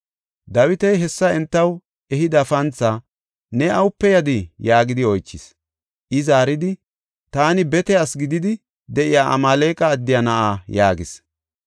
Dawiti hessa entaw ehida panthaa, “Ne awupe yadii?” yaagidi oychis. I zaaridi, “Taani bete asi gididi de7iya Amaaleqa addiya na7a” yaagis.